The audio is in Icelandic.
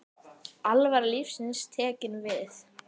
Alvara lífsins tekin við.